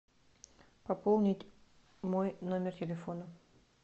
пополнить мой номер телефона